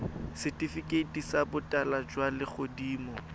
setifikeiti sa botala jwa legodimo